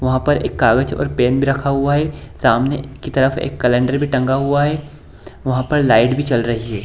वहां पर एक कागज़ और पेन भी रखा हुआ है सामने की तरफ एक कैलेंडर भी टंगा हुआ है वहां पर लाइट भी चल रही है।